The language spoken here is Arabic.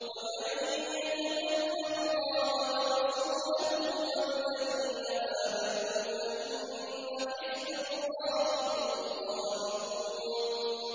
وَمَن يَتَوَلَّ اللَّهَ وَرَسُولَهُ وَالَّذِينَ آمَنُوا فَإِنَّ حِزْبَ اللَّهِ هُمُ الْغَالِبُونَ